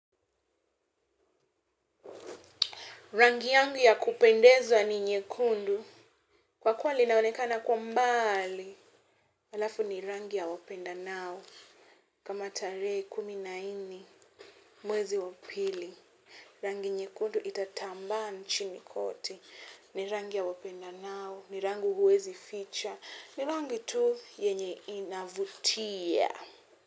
Rangi yangu ya kupendezwa ni nyekundu, kwa kuwa linaonekana kwa mbali, alafu ni rangi ya wapendanao. Kama tarehe kumi na nni mwezi wapili, rangi nyekundu itatamba nchini kote, ni rangi ya wapendanao, ni rangu huwezi ficha, ni rangi tu yenye inavutia.